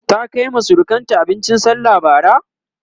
ta Kaima surukanta abincin sallah Bara?